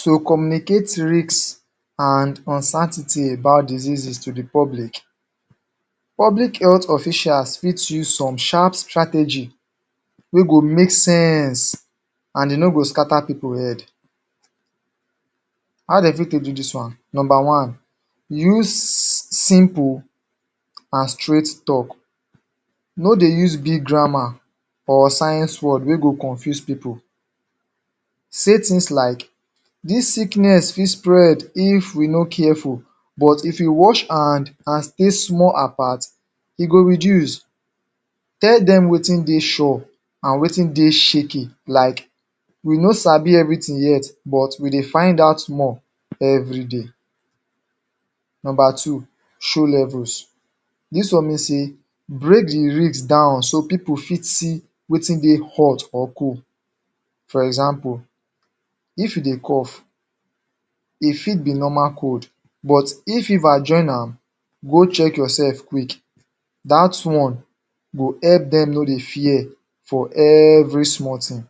To communicate risk and uncertainty about diseases to di public, public health officials fit use some sharp strategy wey go make sense and e no go scatter pipu head How dem fit take do dis one? Nomba one: use simple and straight tok No dey use big grammar or science word wey go confuse pipu. Say tins like: "Dis sickness fit spread if we no careful, but if we wash hand and stay small apart, e go reduce". Tell dem wetin dey sure and wetin dey shaky like: "We no sabi everything yet but we dey find out more everyday." Nomba two, show levels. Dis one mean sey, break di risk down so pipu fit see wetin dey hot or cold For example, if you dey cough, e fit be normal cold, but if fever join am, go check yourself quick. Dat one go help dem no dey fear for every small tin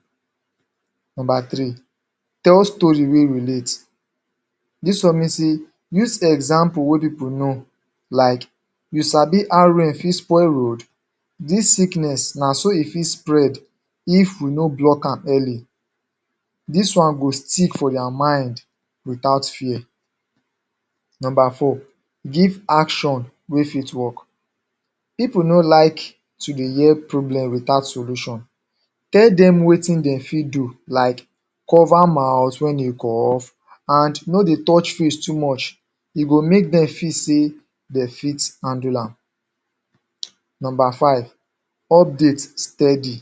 Nomba three: Tell story wey relate. Dis one mean say: Use example wey pipu know like: "You sabi how rain fit spoil road? Dis sickness na so e fit spread if we no block am early" Dis one go stick for their mind without fear Nomba four: Give action wey fit work. Pipu no like to dey hear problem without solution. Tell dem wetin dem fit do like: "Cover mouth wen dey cough and no dey touch face too much". E go make dem feel sey dem fit handle am. Nomba five, update steady.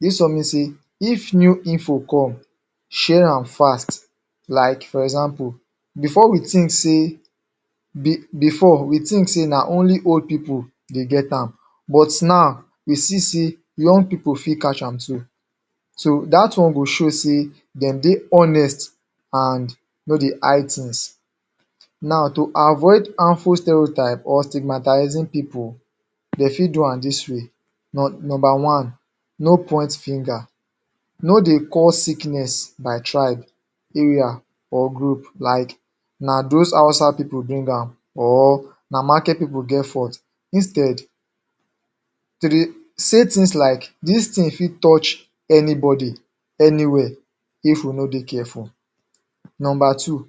Dis one mean sey if new info come, share am fast. like for example, bifor we tink sey bifor we tink sey na only old pipu dey get am but now we fit see young pipu fit catch am too. So dat one go show sey dem dey honest and no dey hide tins. Now to avoid harmful stereotype or stigmatizing pipu, dem fit do am dis way: Nomba one, no point finger, no dey call sickness by tribe area, or group like: "Na those Hausa pipu bring am" or "Na market pipu get fault. Instead, to dey say tins like: "Dis tin fit touch anybody anywhere if we no dey careful" Nomba two: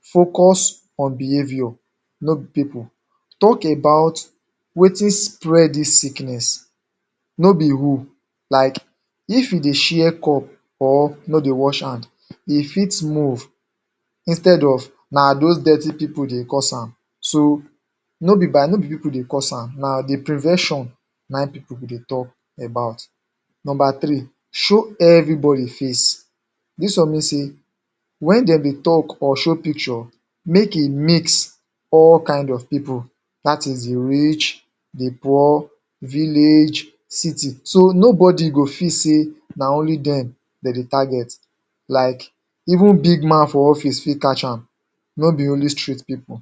Focus on behaviour, no be pipu pipu, tok about wetin spread dis sickness, no be who. Like: "if we dey share cup, or no dey wash hand, e fit move", instead of, "na those dirty pipu dey cause am". So, no be by, no be pipu dey cause am. Na di prevention na im pipu dey tok about Nomba three: show everybody face. Dis one mean sey wen dem bin tok or show picture, make e mix all kind of pipu, dat is di rich, di poor, village, city; so nobody go feel say na only dem, dem dey target, like even big man for office fit catch am, no be only street pipu.